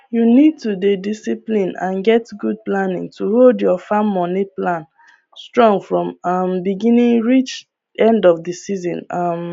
you need to dey discipline and get good planning to hold your farm moni plan strong from um beginning reach end of the season um